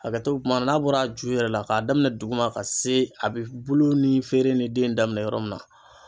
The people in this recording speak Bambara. Hakɛto bɛ kuma na n'a bɔra ju yɛrɛ la k'a daminɛ duguma ka se a bɛ bulu ni feere ni den daminɛ yɔrɔ min na.